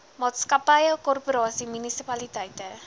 maatskappye korporasies munisipaliteite